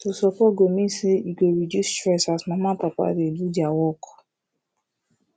to support go mean say e go reduce stress as mama and papa dey do their work